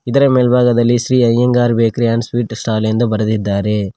ಇದರ ಮೆಲ್ಭಾಗದಲ್ಲಿ Shri Iyengar bakery and sweet stall ಎಂದು ಬರದಿದ್ದಾರೆ.